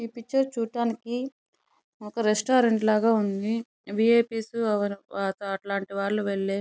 Picture చూడడానికి ఒక restaurant లాగా ఉంది. వీఐపీస్ అట్లాంటి వాళ్ళు వెళ్లే --